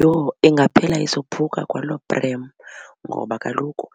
Yho ingaphela isophuka kwaloo prem ngoba kaloku